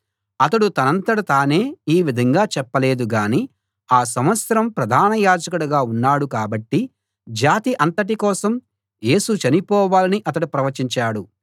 అతడు తనంతట తానే ఈ విధంగా చెప్పలేదు గానీ ఆ సంవత్సరం ప్రధాన యాజకుడిగా ఉన్నాడు కాబట్టి జాతి అంతటి కోసం యేసు చనిపోవాలని అతడు ప్రవచించాడు